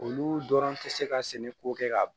Olu dɔrɔn tɛ se ka sɛnɛ ko kɛ ka